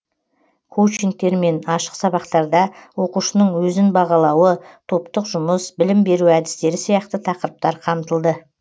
коучингтер мен ашық сабақтарда оқушының өзін бағалауы топтық жұмыс білім беру әдістері сияқты тақырыптар қамтылды